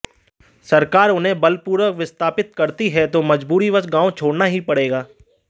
सरकार उन्हें बलपूर्वक विस्थापित करती है तो मजबूरीवश गांव छोड़ना ही पड़ेगा